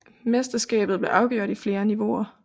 Mesterskabet blev afgjort i flere niveauer